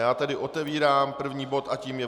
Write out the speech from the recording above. Já tedy otevírám první bod a tím je